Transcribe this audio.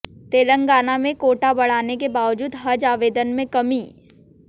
तेलंगाना में कोटा बढ़ाने के बावजूद हज आवेदन में कमी